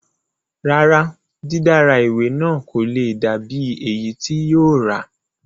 Rárá, dídára ìwé náà kò le dà bíi èyí tí yóò rà